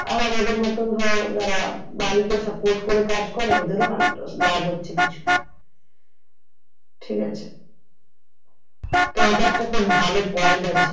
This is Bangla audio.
আর আমাদের মতো ধর যারা বাড়িকে support করে কাজ করে ওদেরও লাভ হচ্ছে কিছু ঠিক আছে তো এইটা খুব ভালো point আছে।